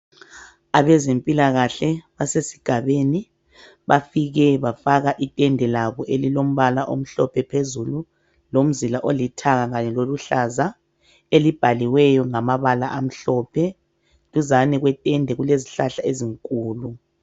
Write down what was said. Abezempilakahle basesigabeni bafike bafaka itende labo elilombala omhlophe phezulu lomzila olithanga loluhlaza elibhaliweyo ngamabala amhlophe. Eduze kwetende kulezihlahla ezinkulu.